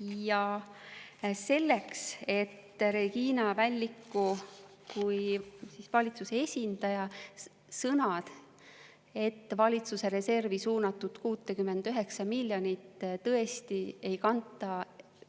Ja selleks, et Regina Välliku kui valitsuse esindaja sõnad, et valitsuse reservi suunatud 69 miljonit tõesti ei kanta